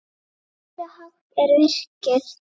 Og hversu hátt er virkið?